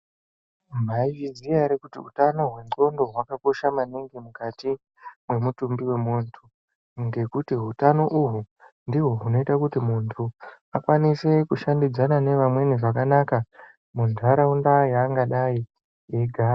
Maizviziya ere kuti utano hwendxondo hwakakosha mukati memutumbi wemuntu ngekuti utano uhwu ndihwo hunoita kuti muntu akwanise kushandidzana neamweni zvakanaka mundaraunda yaangadai echigara .